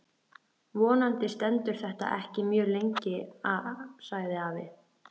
Vonandi stendur þetta ekki mjög lengi sagði afi.